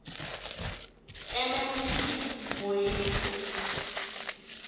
mm p moitse